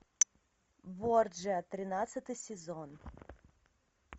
борджиа тринадцатый сезон